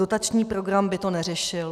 Dotační program by to neřešil.